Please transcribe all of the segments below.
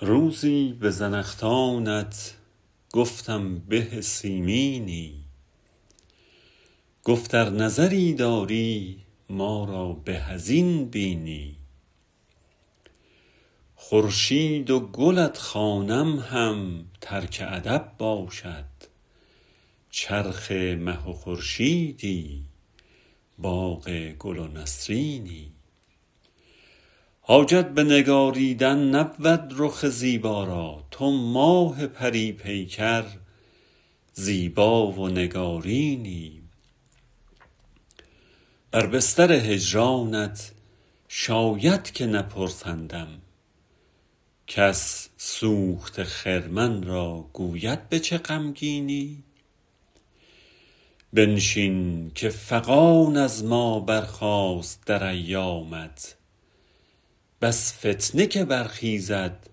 روزی به زنخدانت گفتم به سیمینی گفت ار نظری داری ما را به از این بینی خورشید و گلت خوانم هم ترک ادب باشد چرخ مه و خورشیدی باغ گل و نسرینی حاجت به نگاریدن نبود رخ زیبا را تو ماه پری پیکر زیبا و نگارینی بر بستر هجرانت شاید که نپرسندم کس سوخته خرمن را گوید به چه غمگینی بنشین که فغان از ما برخاست در ایامت بس فتنه که برخیزد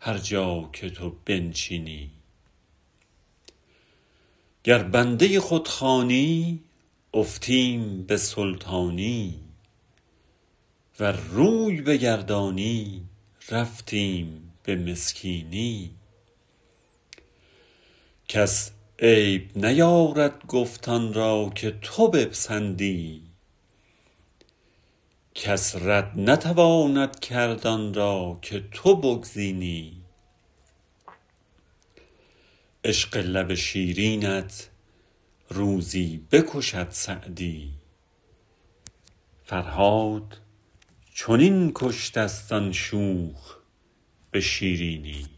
هر جا که تو بنشینی گر بنده خود خوانی افتیم به سلطانی ور روی بگردانی رفتیم به مسکینی کس عیب نیارد گفت آن را که تو بپسندی کس رد نتواند کرد آن را که تو بگزینی عشق لب شیرینت روزی بکشد سعدی فرهاد چنین کشته ست آن شوخ به شیرینی